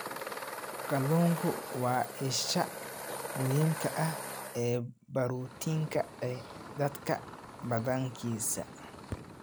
Kalluunku waa isha muhiimka ah ee borotiinka ee dadka badankiisa.